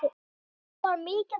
Oft var mikið gaman.